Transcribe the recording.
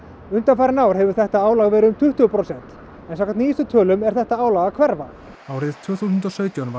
undanfarin ár hefur þetta álag verið um tuttugu prósent en samkvæmt nýjustu tölum er þetta álag að hverfa árið tvö þúsund og sautján var